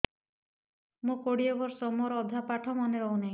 ମୋ କୋଡ଼ିଏ ବର୍ଷ ମୋର ଅଧା ପାଠ ମନେ ରହୁନାହିଁ